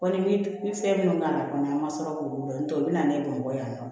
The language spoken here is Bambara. Kɔ ni fɛn minnu ka na kɔni an ma sɔrɔ k'olu dɔn n'o tɛ u bɛna ne bamakɔ yan nɔ